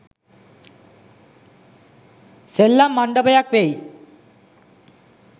සෙල්ලම් මණ්ඩපයක් වෙයි.